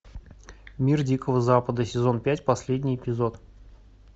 мир дикого запада сезон пять последний эпизод